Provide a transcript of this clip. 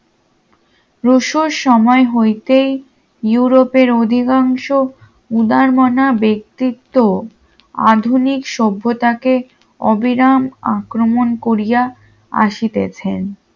রুশোর সময় হইতেই ইউরোপের অধিকাংশ উদারমনা ব্যক্তিত্ব আধুনিক সভ্যতাকে অবিরাম আক্রমণ করিয়া আসিতেছেন